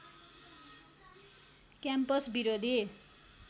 campus विरोधी